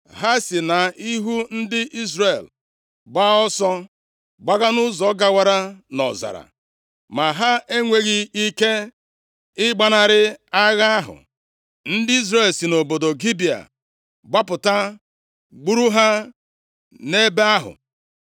Ha si nʼihu ndị Izrel gbaa ọsọ, gbaga nʼụzọ gawara nʼọzara, ma ha enweghị ike ịgbanarị agha ahụ. Ndị Izrel si nʼobodo Gibea gbapụta gburu ha nʼebe ahụ.